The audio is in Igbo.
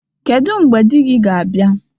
Kedu mgbe di gị ga-abia?